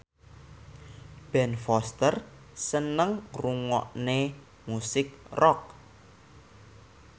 Ben Foster seneng ngrungokne musik rock